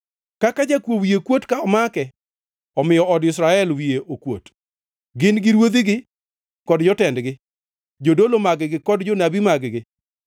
“Kaka jakuo wiye kuot ka omake, omiyo od Israel wiye okuot, gin gi ruodhigi kod jotendgi, jodolo mag-gi kod jonabi mag-gi.